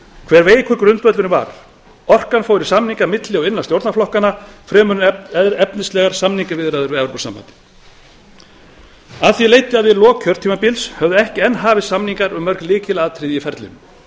hve veikur grundvöllurinn var orkan fór í samninga milli og innan stjórnarflokkanna fremur en efnislegar samningaviðræður við evrópusambandið af því leiddi að við lok kjörtímabils höfðu ekki enn hafist samningar um mörg lykilatriði í ferlinu